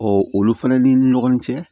olu fɛnɛ ni ɲɔgɔn cɛ